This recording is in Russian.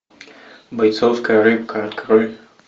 бойцовская рыбка открой